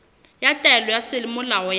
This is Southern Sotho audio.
ya taelo ya semolao ya